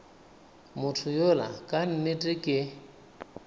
motho yola ka nnete ke